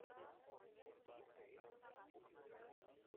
Korojoon namoota baay'eedhaan qabatama. Korojoo kana hojjechuudhaaf gogaa looniifi waantota